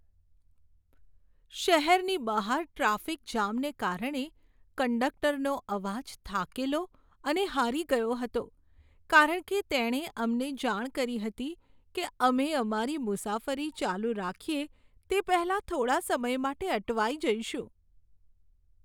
શહેરની બહાર ટ્રાફિક જામને કારણે કંડકટરનો અવાજ થાકેલો અને હારી ગયો હતો કારણ કે તેણે અમને જાણ કરી હતી કે અમે અમારી મુસાફરી ચાલુ રાખીએ તે પહેલાં થોડા સમય માટે અટવાઈ જઈશું.